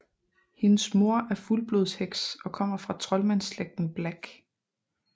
Hendes mor er fuldblodsheks og kommer fra troldmandslægten Black